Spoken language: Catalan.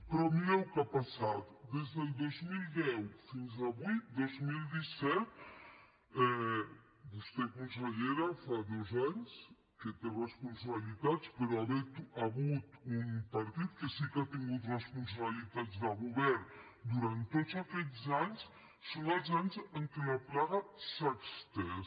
però mireu què ha passat des del dos mil deu fins avui dos mil disset vostè consellera fa dos anys que té responsabilitats però hi ha hagut un partit que sí que ha tingut responsabilitats de govern durant tots aquests anys són els anys en què la plaga s’ha estès